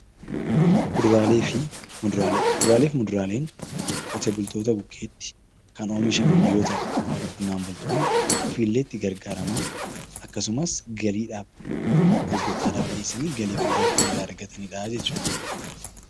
Kuduraalee fi muduraalee Kuduraalee fi muduraaleen qote bultoota bukkeetti kan oomishaman yoo ta'u qonnaan bultoonni ofii illee itti gargaaramaa akkasumas galii dhaaf, gurguurtaa dhaaf dhiyeessanii galii guddaa kan irraa argatani dha jechuu dha.